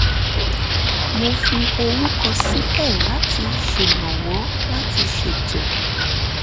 mo fi orúkọ sílẹ̀ láti ṣèrànwọ́ láti ṣètò